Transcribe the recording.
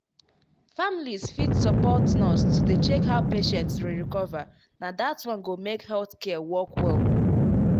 families fit support nurse to dey check how patient dey recover na dat one go make health care work well.